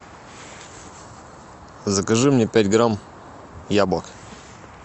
закажи мне пять грамм яблок